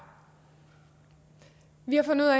vi har fundet